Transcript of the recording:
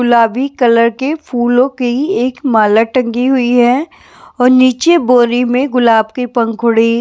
गुलाबी कलर के फूलों की एक माला टंगी हुई है और नीचे बोरी में गुलाब की पंखुड़ी --